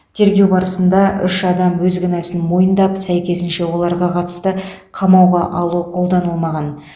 тергеу барысында үш адам өз кінәсін мойындап сәйкесінше оларға қатысты қамауға алу қолданылмаған